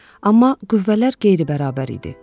Amma qüvvələr qeyri-bərabər idi.